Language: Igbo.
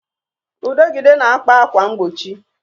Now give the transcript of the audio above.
Udegịde na-akpa ákwà mgbochi